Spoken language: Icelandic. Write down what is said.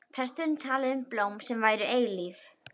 Presturinn talaði um blóm sem væru eilíf.